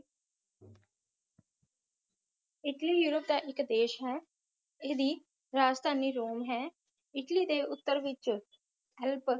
Italy ਯੂਪਰ ਦਾ ਇਕ ਦੇਸ਼ ਹੈ ਇਸ ਦੀ ਰਾਜਧਾਨੀ ਰੋਮ ਹੈ ਇੱਟਲੀ ਦੇ ਉੱਤਰ ਵਿਚ ਐਲਪ